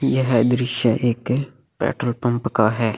यह दृश्य एक पेट्रोल पंप का है।